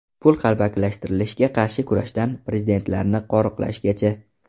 Pul qalbakilashtirilishiga qarshi kurashdan prezidentlarni qo‘riqlashgacha.